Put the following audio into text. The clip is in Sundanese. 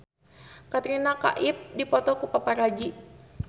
Katrina Kaif dipoto ku paparazi